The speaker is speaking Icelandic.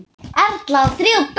Erla á þrjú börn.